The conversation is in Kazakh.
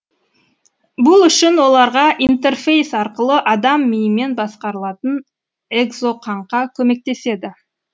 бұл үшін оларға интерфейс арқылы адам миымен басқарылатын экзоқаңқа көмектеседі